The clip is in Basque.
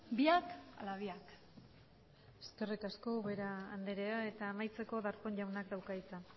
biak ala biak eskerrik asko ubera andrea eta amaitzeko darpón jaunak dauka hitza